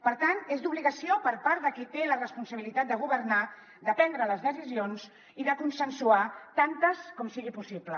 per tant és d’obligació per part de qui té la responsabilitat de governar prendre les decisions i consensuar·ne tantes com sigui possible